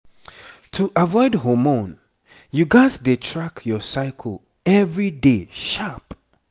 to avoid hormone you gats dey track your cycle every day sharp